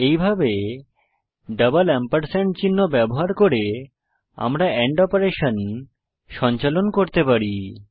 এইভাবে double ampersand চিহ্ন ব্যবহার করে আমরা এন্ড অপারেশন সঞ্চালন করতে পারি